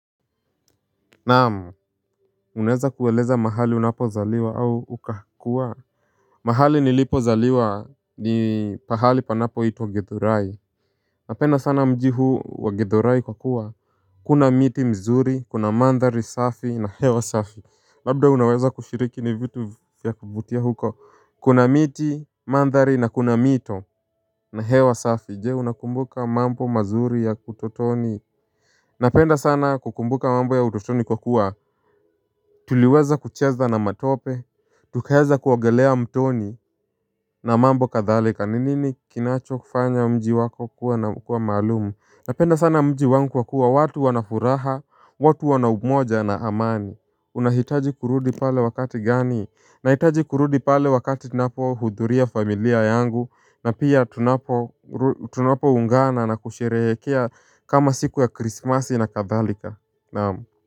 Naam, unaweza kueleza mahali unapozaliwa au uka kua? Mahali nilipo zaliwa ni pahali panapoitwa Githurai. Napenda sana mji huu wa Githurai kwa kuwa kuna miti mzuri, kuna mandhari safi na hewa safi. Labda unaweza kushiriki ni vitu vya kuvutia huko? Kuna miti, mandhari na kuna mito na hewa safi. Je, unakumbuka mambo mazuri ya utotoni? Napenda sana kukumbuka mambo ya utotoni kwa kuwa tuliweza kucheza na matope, tukaweza kuogelea mtoni na mambo kathalika. Ni nini kinacho kufanya mji wako kuwa na kuwa maalum? Napenda sana mji wangu kwa kuwa watu wana furaha, watu wana umoja na amani. Unahitaji kurudi pale wakati gani? Nahitaji kurudi pale wakati tunapohudhuria familia yangu na pia tunapoungana na kusherehekea kama siku ya krismasi na kathalika. Naam.